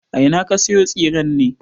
A ina ka sayo tsiren ne?